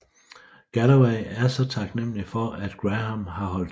Galloway er så taknemmelig for at Graham har holdt tæt